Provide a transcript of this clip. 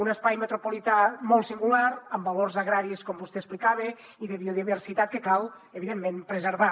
un espai metropolità molt singular amb valors agraris com vostè explicava i de biodiversitat que cal evidentment preservar